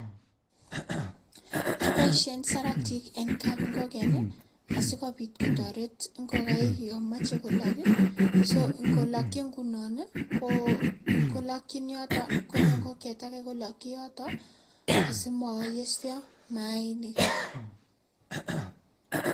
Kiboishen saratik eng kapingoken askopit kotoret ingokaik yon machei kolok, so kolokchin nguno kolokchin yoto konyo ingokiet ake kolokchin yoto asimoyesio maainik.